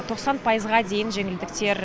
тоқсан пайызға дейін жеңілдіктер